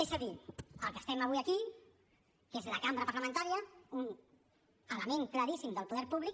és a dir el que estem fent avui aquí que és la cambra parlamentària un element claríssim del poder públic